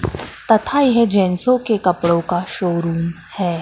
तथा यह जेंट्सो के कपड़ों का शोरूम है।